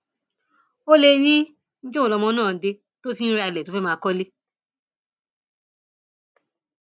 ó lè ní níjọ wo lọmọ náà dé tó ti ń ra ilé tó fẹẹ máa kọlé